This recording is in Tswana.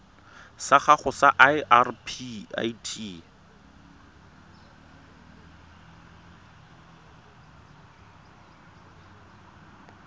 sa gago sa irp it